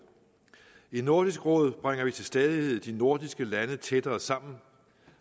i nordisk råd bringer vi til stadighed de nordiske lande tættere sammen